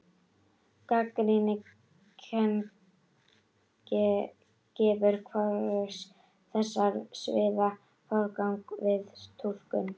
Gagnrýnin kenning gefur hvorugu þessara sviða forgang við túlkun.